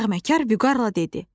Nəğməkar Vüqarla dedi: